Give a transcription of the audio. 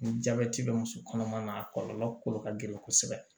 Ni jabɛti bɛ muso kɔnɔma na a kɔlɔlɔ kolo ka gɛlɛn kosɛbɛ